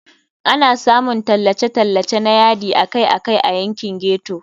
Ana samun tallace-tallace na yadi akai-akai a yankin ghetto.